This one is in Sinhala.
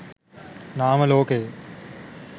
නාම ලෝකය